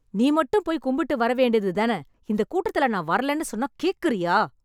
நீ மட்டும் போய் கும்பிட்டு வர வேண்டியது தான? இந்த கூட்டத்தில நான் வரலேன்னு சொன்னா கேக்குறியா?